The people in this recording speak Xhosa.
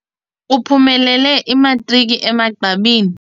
Uphumelele imatriki emagqabini.